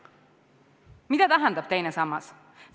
Mida tähendab teine sammas?